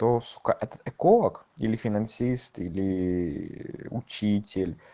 это сук это эколог или финансист или учитель